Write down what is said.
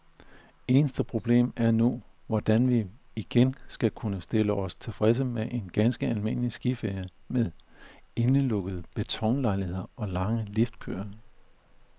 Eneste problem er nu, hvordan vi igen skal kunne stille os tilfredse med en ganske almindelig skiferie med indelukkede betonlejligheder og lange liftkøer.